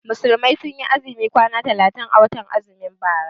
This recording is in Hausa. Musulmai sun yi azumi kwana talatin a watan azumin bara.